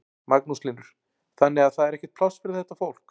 Magnús Hlynur: Þannig að það er ekkert pláss fyrir þetta fólk?